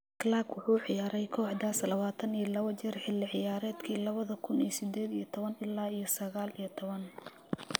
Clarke wuxuu ciyaaray kooxdaas lawatan iyo lawa jeer xilli ciyaareedkii lawadha kun iyo sideed iyo tawan ila yo saqal iyo towan.